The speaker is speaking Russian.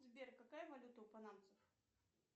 сбер какая валюта у панамцев